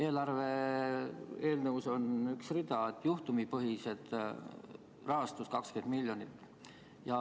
Eelarve eelnõus on üks rida – juhtumipõhised, rahastus 20 miljonit.